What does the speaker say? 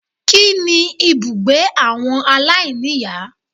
Kíni ibùgbé àwọn aláìníìyá